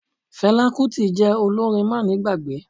Fela Kuti jẹ́ olórin má ni gbàgbé.